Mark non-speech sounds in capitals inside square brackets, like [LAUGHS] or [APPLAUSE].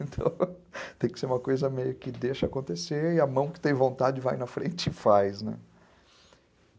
[LAUGHS] Então, tem que ser uma coisa meio que deixa acontecer e a mão que tem vontade vai na frente e faz, né?